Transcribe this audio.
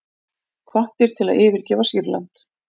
Hvattir til að yfirgefa Sýrland